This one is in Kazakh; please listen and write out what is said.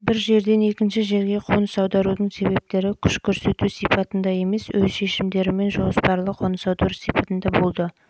бір жерден екінші жерге қоныс аударудың себептері күш көрсету сипатында емес өз шешімдерімен жоспарлы қоныс аудару сипатында болды